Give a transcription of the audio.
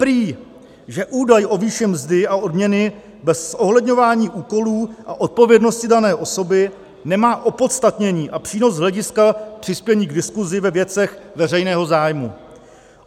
Prý že údaj o výši mzdy a odměny bez zohledňování úkolů a odpovědnosti dané osoby nemá opodstatnění a přínos z hlediska přispění k diskusi ve věcech veřejného zájmu.